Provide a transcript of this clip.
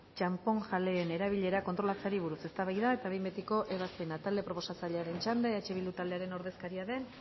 txanponjaleen erabilera kontrolatzeari buruz eztabaida eta behin betiko ebazpena talde proposatzailearen txanda eh bildu taldearen ordezkaria den